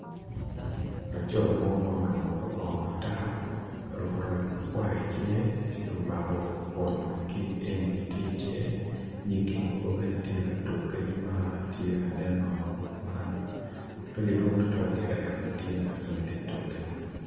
Laco mo ma oruku kor bongo mo matar, oruku roc makwar i cinge ci omako bon kic eni-ni tye i cinge, nying mogo bene tye ka tuk kenyo ma tye ka nen-o ma pe gidwong tutwal gire ento gitye mere ma gitye katuk-ki.